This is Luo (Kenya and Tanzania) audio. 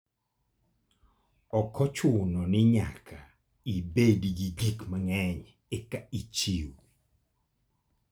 Ok ochuno ni nyaka ibed gi gik mang'eny eka ichiw.